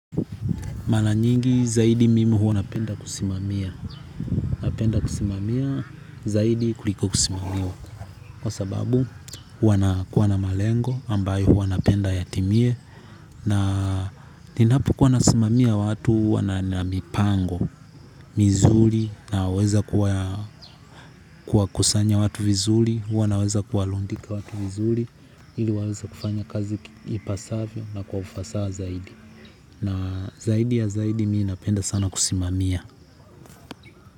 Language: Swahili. Mara nyingi zaidi mimi huwa napenda kusimamia. Napenda kusimamia zaidi kuliko kusimamiwa. Kwa sababu huwa na kuwa na malengo ambayo huwa napenda yatimie. Na ninapokuwa nasimamia watu huwa na mipango, mizuri. Naweza kuwakusanya watu vizuri. Huwa naweza kuwarundika watu vizuri. Ili waweze kufanya kazi ipasavyo na kwa ufasaha zaidi. Na zaidi ya zaidi mimi napenda sana kusimamia.